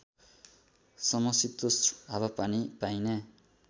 समशितोष्ण हावापानी पाइने